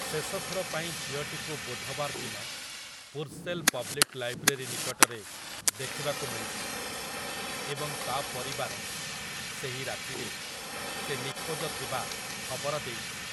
ଶେଷଥର ପାଇଁ ଝିଅଟିକୁ ବୁଧବାର ଦିନ ପୁର୍ସେଲ ପବ୍ଲିକ୍ ଲାଇବ୍ରେରୀ ନିକଟରେ ଦେଖିବାକୁ ମିଳିଥିଲା, ଏବଂ ତା' ପରିବାର ସେହି ରାତିରେ ସେ ନିଖୋଜ ଥିବା ଖବର ଦେଇଥିଲେ ।